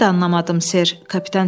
Mən də anlamadım, ser.